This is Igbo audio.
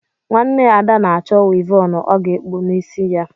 Nwanne Ada na-achọ wịvọnụ ọ ga-ekpu n’isi ya